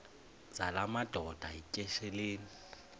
zala madoda yityesheleni